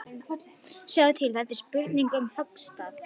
Sjáðu til, þetta er spurning um höggstað.